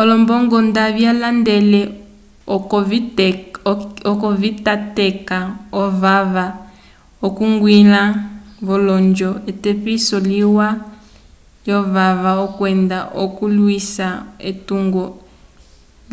olombongo nda vyandele oco vitateka ovava okwiñgila v'olonjo etepiso liwa lyovava kwenda okulwisa etungo